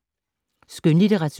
Skønlitteratur